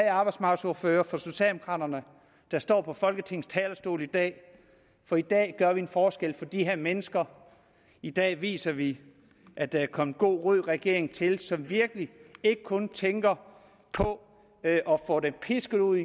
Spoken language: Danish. arbejdsmarkedsordfører der står på folketingets talerstol i dag for i dag gør vi en forskel for de her mennesker i dag viser vi at der er kommet en god rød regering til som virkelig ikke kun tænker på at få dem pisket ud